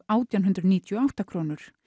átján hundruð níutíu og átta krónur